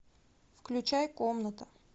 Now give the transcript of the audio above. включай комната